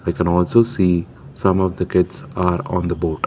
I can also see some of the kids are on the boat.